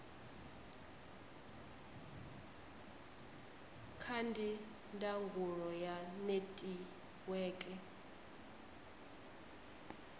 ca ndi ndangulo ya netiweke